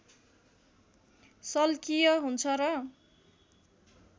शल्कीय हुन्छ र